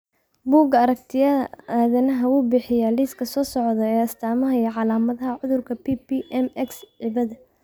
Bugga aragtiyaha aanadanaha wuxuu bixiyaa liiska soo socda ee astamaha iyo calaamadaha cudurka PPM X cibada